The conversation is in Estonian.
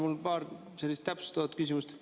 Mul on paar täpsustavat küsimust.